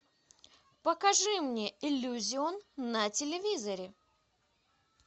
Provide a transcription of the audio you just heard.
покажи мне иллюзион на телевизоре